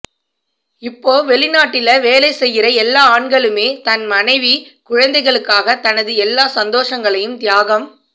இப்போ வெளிநாட்டில வேலை செய்கிற எல்லா ஆண்களுமே தன் மனைவிகுழந்தைகளுக்காக தனது எல்லா சந்தோசங்களையும் தியாகம்